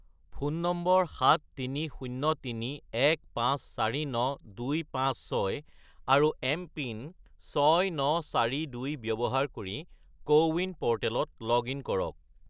phone নম্বৰ 73031549256 আৰু MPIN 6942 ব্যৱহাৰ কৰি কোৱিন প'ৰ্টেলত লগ-ইন কৰক